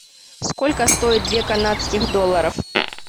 сколько стоит две канадских долларов